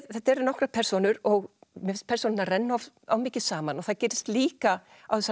þetta eru nokkrar persónur og mér finnst persónurnar renna of mikið saman og það gerist líka á þessari